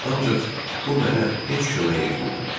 Ancaq bu mənə heç kömək etmirdi.